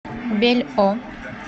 бельо